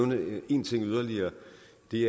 det